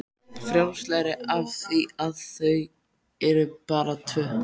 Frjálslegri af því að þau eru bara tvö.